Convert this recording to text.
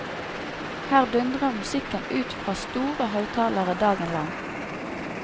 Her dundrer musikken ut fra store høytalere dagen lang.